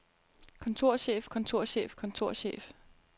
kontorchef kontorchef kontorchef